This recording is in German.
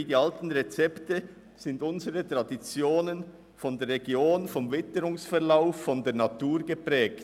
Wie die alten Rezepte sind unsere Traditionen durch die Region und ihre Natur geprägt.